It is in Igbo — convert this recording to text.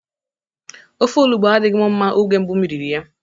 Ofe olugbo adịghị mụ mma oge mbụ m riri ya.